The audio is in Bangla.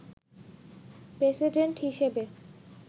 প্রেসিডেন্ট হিসেবে